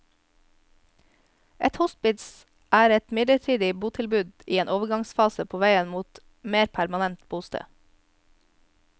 Et hospits er et midlertidig botilbud i en overgangsfase på veien mot mer permanent bosted.